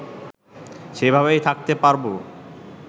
সেভাবেই থাকতে পারবো